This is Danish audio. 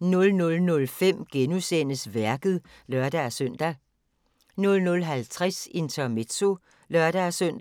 00:05: Værket *(lør-søn) 00:50: Intermezzo (lør-søn)